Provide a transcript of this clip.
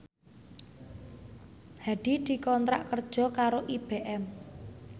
Hadi dikontrak kerja karo IBM